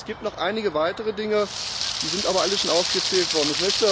Es gibt noch einige weitere Dinge, die sind aber alle schon aufgezählt worden.